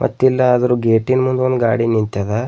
ಗೆಟೀನ್ ಮುಂದ್ ಒಂದ್ ಗಾಡಿ ನಿಂತದ.